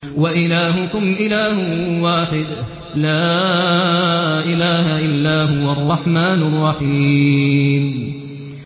وَإِلَٰهُكُمْ إِلَٰهٌ وَاحِدٌ ۖ لَّا إِلَٰهَ إِلَّا هُوَ الرَّحْمَٰنُ الرَّحِيمُ